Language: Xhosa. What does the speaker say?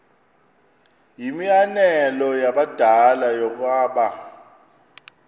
yimianelo yabadala yokaba